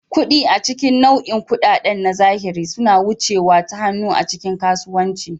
Kuɗi, a cikin nau'in kuɗaɗen na zahiri, suna wucewa ta hannu a cikin kasuwanni.